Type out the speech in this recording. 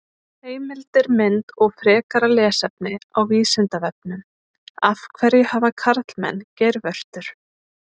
Heimildir, mynd og frekara lesefni á Vísindavefnum: Af hverju hafa karlmenn geirvörtur?